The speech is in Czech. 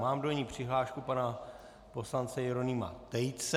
Mám do ní přihlášku pana poslance Jeronýma Tejce.